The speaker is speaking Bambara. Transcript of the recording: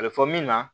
A bɛ fɔ min ma